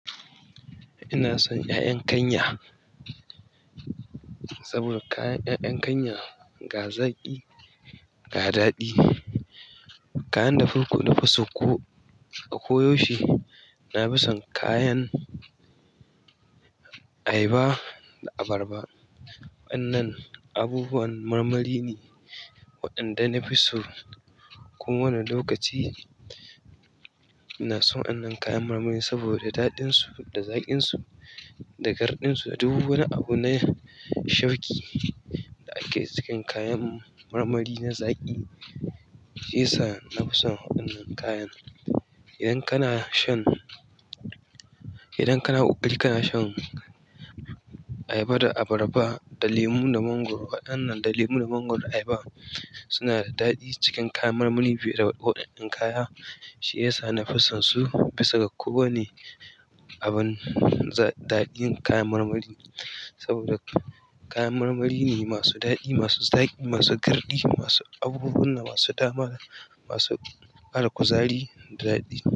Ina son 'ya'yan kanya saboda kayan 'ya'yan kanya ga zaki, ga daɗi. Kayan da farko na fuso ko a koyo she. Na fi son kayan ayaba da abarba. Waɗannan abubuwan marmari ne waɗanda na fi su. Ko wani lokaci ina son wannan kayan marmari saboda daɗinsu da zaƙinsu da garɗinsu. Duk wani abu na shauƙi da ake cikin kayan marmari na zaƙi, shi ya sa na fi son waɗannan kayan. Idan kana shan, idan kana ƙoƙari kana shan ayaba da abarba da lemu da mangwaro. Waɗannan da lemu da mangwaro da ayaba suna da ɗaɗi cikin kayan marmari fiye da waɗannan kaya. Shiyasa na fi son su, bisa ga kowane abun, daɗin kayan marmari. Saboda kayan marmari ne masu daɗi, masu zaƙi, masu garɗi, masu abubuwan da masu dama, masu ba da kuzari da daɗi.